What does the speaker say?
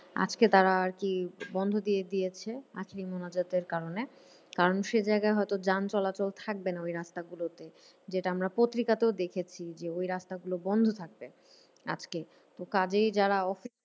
আজকে তারা আরকি বন্ধ দিয়ে দিয়েছে আজকে মোনাজাতের কারণে। কারণ সেই জায়গায় হয়তো যান চলাচল থাকবে না ওই রাস্তা গুলোতে। যেটা আমরা পত্রিকাতেও দেখেছি যে ওই রাস্তা গুলো বন্ধ থাকবে আজকে। তো কাজেই যারা অফিস